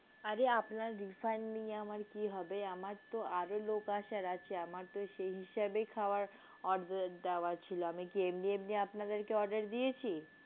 আরে আপনার refund নিয়ে আমার কি হবে আমারতো আরও লোক আসার আছে আমারতো সেই হিসেবেই খাওয়ার order দেওয়া ছিল আমি কি এমনি এমনি আপনাদেরকে order দিয়েছি।